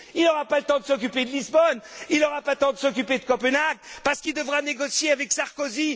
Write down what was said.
Il n'aura pas le temps de s'occuper de Lisbonne, il n'aura pas le temps de s'occuper de Copenhague, parce qu'il devra négocier avec Sarkozy.